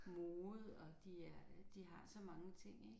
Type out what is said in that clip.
Mode og de er de har så mange ting ik